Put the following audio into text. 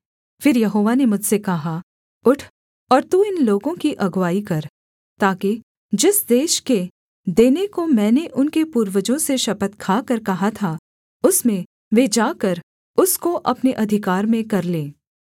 फिर यहोवा ने मुझसे कहा उठ और तू इन लोगों की अगुआई कर ताकि जिस देश के देने को मैंने उनके पूर्वजों से शपथ खाकर कहा था उसमें वे जाकर उसको अपने अधिकार में कर लें